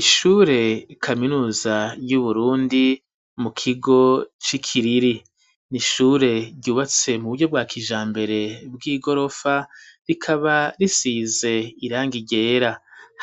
Ishure kaminuza yu Burundi mu kigo ci Kiriri n'ishure ryubatse mu buryo bwa kijambere bw'igorofa rikaba risize irangi ryera